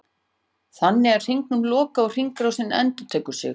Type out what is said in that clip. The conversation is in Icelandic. Þannig er hringnum lokað og hringrásin endurtekur sig.